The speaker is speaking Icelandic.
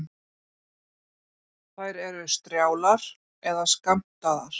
Þær eru strjálar eða skammtaðar.